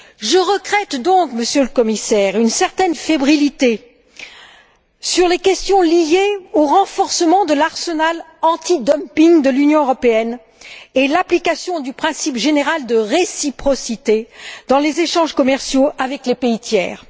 Je regrette donc, Monsieur le Commissaire, une certaine fébrilité sur les questions liées au renforcement de l'arsenal antidumping de l'Union européenne et l'application du principe général de réciprocité dans les échanges commerciaux avec les pays tiers.